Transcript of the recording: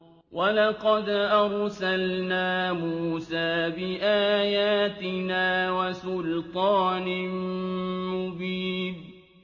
وَلَقَدْ أَرْسَلْنَا مُوسَىٰ بِآيَاتِنَا وَسُلْطَانٍ مُّبِينٍ